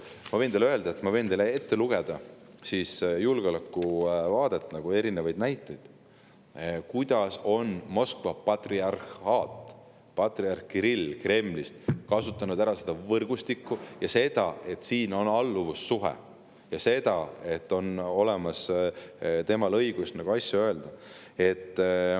Ma võin teile ette lugeda julgeolekuvaatest erinevaid näiteid, kuidas on Moskva patriarhaat, patriarh Kirill Kremlist kasutanud ära seda võrgustikku, seda, et siin on alluvussuhe, ja seda, et on olemas temal õigus asju öelda.